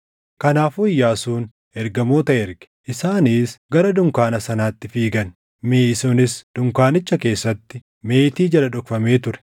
Kanaafuu Iyyaasuun ergamoota erge; isaanis gara dunkaana sanaatti fiigan; miʼi sunis dunkaanicha keessatti, meetii jala dhokfamee ture.